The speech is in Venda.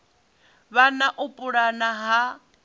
vha na u pulana ha